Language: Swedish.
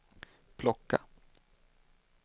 plocka